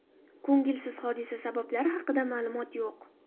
Ko‘ngilsiz hodisa sabablari haqida ma’lumot yo‘q.